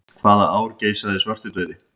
Hvaða ár geisaði svartidauði?